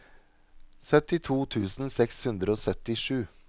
syttito tusen seks hundre og syttisju